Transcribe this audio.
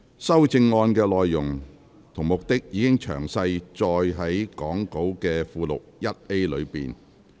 修正案的內容及目的，已詳載於講稿附錄 1A 的列表。